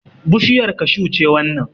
Bushiyar kashu ce wannan